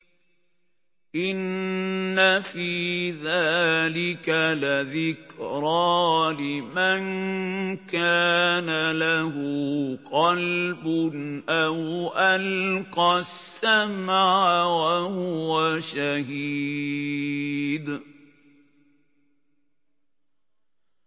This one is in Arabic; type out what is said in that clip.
إِنَّ فِي ذَٰلِكَ لَذِكْرَىٰ لِمَن كَانَ لَهُ قَلْبٌ أَوْ أَلْقَى السَّمْعَ وَهُوَ شَهِيدٌ